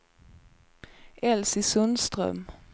Elsy Sundström